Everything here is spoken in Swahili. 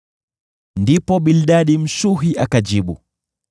Ndipo Bildadi Mshuhi akajibu: